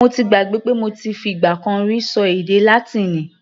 Mo gbàgbé pé mo ti fi ìgbà kan rí ṣọ èdè Látíìnì.